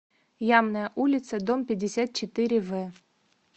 ямная улица дом пятьдесят четыре в